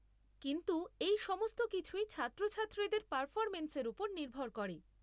কিন্তু এই সমস্ত কিছুই ছাত্রছাত্রীদের পারফরমেন্সের ওপর নির্ভর করে।